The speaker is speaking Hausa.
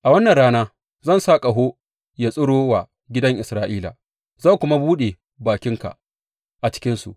A wannan rana zan sa ƙaho ya tsiro wa gidan Isra’ila, zan kuma buɗe bakinka a cikinsu.